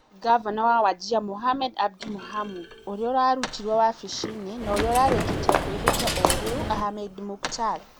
Ngavana wa Wajir Mohamed Abdi Mohamud ũrĩa warutirũo wabici-inĩ, na ũrĩa ũrarĩkĩtie kwĩhĩta ũrĩu Ahmed Muktar.